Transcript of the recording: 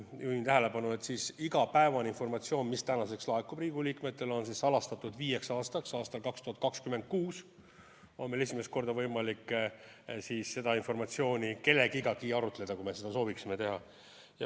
Juhin tähelepanu, et igapäevane informatsioon, mis laekub Riigikogu liikmetele, on salastatud viieks aastaks: aastal 2026 on meil esimest korda võimalik seda informatsiooni üldse kellegagi arutada, kui me seda sooviksime teha.